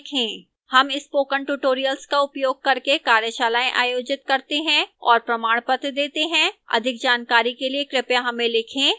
हम spoken tutorial का उपयोग करके कार्यशालाएँ आयोजित करते हैं और प्रमाणपत्र देती है अधिक जानकारी के लिए कृपया हमें लिखें